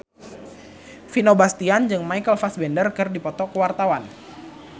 Vino Bastian jeung Michael Fassbender keur dipoto ku wartawan